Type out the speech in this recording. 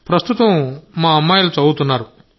ప్రస్తుతం మా అమ్మాయిలు చదువుతున్నారు